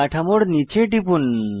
কাঠামোর নীচে টিপুন